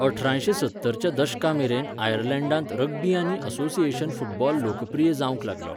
अठरांयशे सत्तर च्या दशका मेरेन आयर्लंडांत रग्बी आनी असोसिएशन फुटबॉल लोकप्रिय जावंक लागलो.